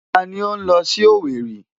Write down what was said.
Ta ni ó ń lọ sí Owerri?